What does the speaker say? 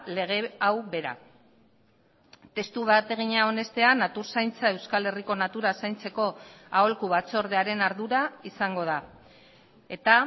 lege hau bera testu bategina onestea natur zaintza euskal herriko natura zaintzeko aholku batzordearen ardura izango da eta